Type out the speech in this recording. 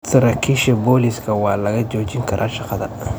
Saraakiisha booliiska waa laga joojin karaa shaqada.